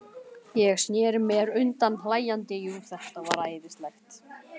Ég sneri mér undan hlæjandi, jú, þetta var æðislegt.